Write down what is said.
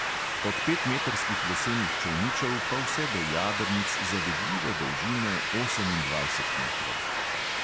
Od petmetrskih lesenih čolničev pa vse do jadrnic zavidljive dolžine osemindvajset metrov.